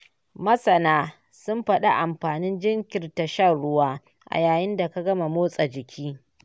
Masana sun fadi amfanin jinkirta shan ruwa a yayin da ka gama motsa jiki